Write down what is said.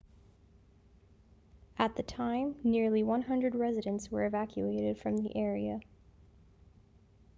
at the time nearly 100 residents were evacuated from the area